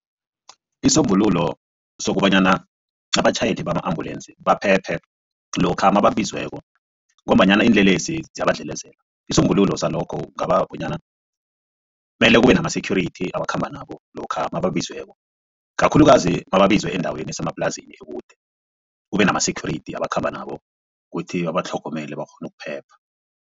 Isombululo sokobanyana abatjhayeli bama-ambulensi baphephe lokha mamabizweko ngombanyana iinlelesi ziyabadlelezela. Isombululo salokho kungaba bonyana mele kube nama-security abakhamba nabo lokha nababizweko kakhulukazi nababizwe endaweni esemaplasini ekude kube nama-security abakhamba nabo kuthi babatlhogomele bakghone ukuphepha.